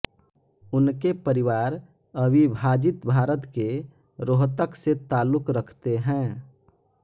उनके परिवार अविभाजित भारत के रोहतक से ताल्लुक़ रखते है